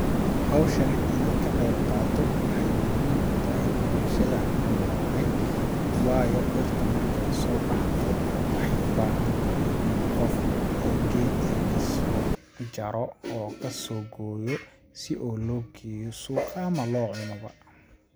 Hawshani inaan ka qeyb qaato waxeey muhim u tahay bulshada aan ku noolahay ,waayo dhirta marki ay soo baxdo waxeey u baahan tahay qof oo geedka kasoo jaro oo kasoo gooyo ,si oo loo geeyo suuqa ama loo cuno ba.